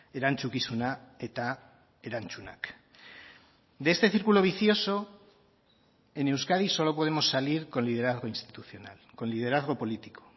erantzukizuna eta erantzunak de este círculo vicioso en euskadi solo podemos salir con liderazgo institucional con liderazgo político